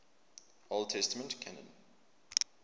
old testament canon